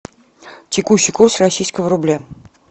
текущий курс российского рубля